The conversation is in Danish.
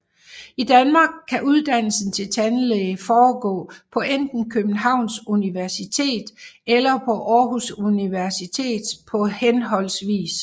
I Danmark kan uddannelsen til tandlæge foregå på enten Københavns Universitet eller på Aarhus Universitet på hhv